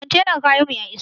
Kwantenar kayan mu ya iso